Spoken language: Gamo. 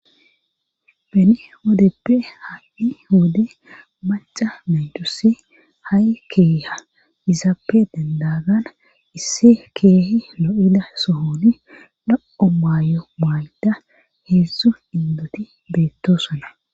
bene wodeppe ha7i wode maca menjusi ha7i keeha izaappe dandagana issi keehi lo7ida sohoni la7o maayo maay7ida heedzdzu indoti beettosona